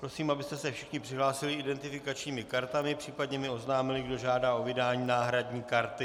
Prosím, abyste se všichni přihlásili identifikačními kartami, případně mi oznámili, kdo žádá o vydání náhradní karty.